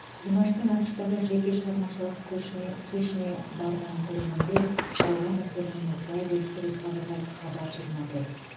димаштың ақш тағы жеке шығармашылық көшіне кешіне барған көрермендер алған әсерімен осылай бөлісті деп хабарлайды хабар жиырма төрт